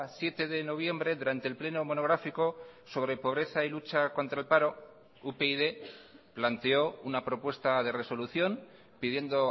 siete de noviembre durante el pleno monográfico sobre pobreza y lucha contra el paro upyd planteó una propuesta de resolución pidiendo